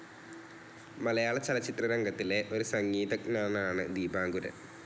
മലയാളചലച്ചിത്രരംഗത്തിലെ ഒരു സംഗീതജ്ഞനാണ് ദീപാങ്കുരൻ.